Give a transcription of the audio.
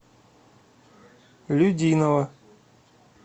людиново